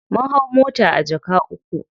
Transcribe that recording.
Mun hau mota a jaka uku.